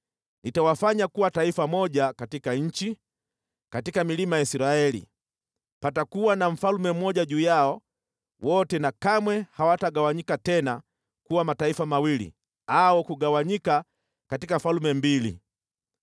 Nitawafanya kuwa taifa moja katika nchi, katika milima ya Israeli. Patakuwa na mfalme mmoja juu yao wote na kamwe hawatagawanyika tena kuwa mataifa mawili au kugawanyika katika falme mbili.